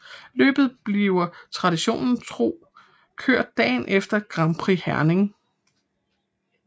Løbet bliver traditionen tro kørt dagen efter Grand Prix Herning